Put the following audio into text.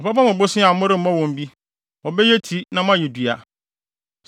Wɔbɛbɔ mo bosea a moremmɔ wɔn bi. Wɔbɛyɛ eti na moayɛ dua.